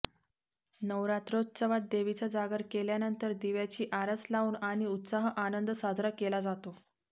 नवरात्रौत्सवात देवीचा जागर केल्यानंतर दिव्याची आरास लावून आणि उत्साह आनंद साजरा केला जातो